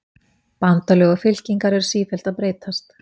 Bandalög og fylkingar eru sífellt að breytast.